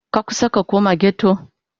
Ka kusa ka koma ghetto?